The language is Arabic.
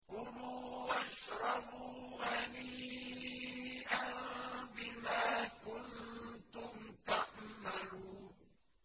كُلُوا وَاشْرَبُوا هَنِيئًا بِمَا كُنتُمْ تَعْمَلُونَ